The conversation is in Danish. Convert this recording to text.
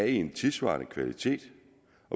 en tidssvarende kvalitet